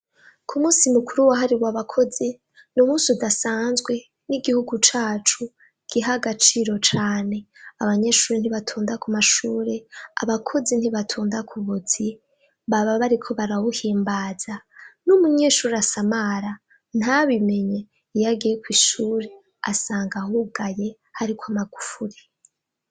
Kumusi mukuru wahariwe abakozi numunsi udasazwe nigihugu cacu giha agaciro cane abanyeshure ntibatonda kumashure abakozi ntibatonda kubuzi baba bariko barawuhimbaza numunyeshure asamara ntabimenye iyo agiye kwishure asanga hugaye hariko amagufuri